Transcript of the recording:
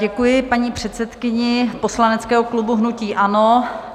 Děkuji paní předsedkyni poslaneckého klubu hnutí ANO.